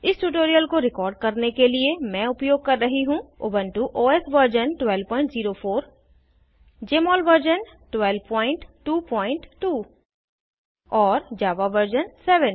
इस ट्यूटोरियल को रिकॉर्ड करने के लिए मैं उपयोग कर रही हूँ Ubuntu OS version 1204 Jmol version 1222 और जावा वर्जन 7